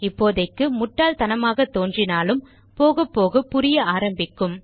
இப்போதைக்கு முட்டாள்தனமாக தோன்றினாலும் போகப்போக புரிய ஆரம்பிக்கும்